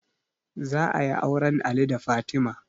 Za ayi auren ali da fatima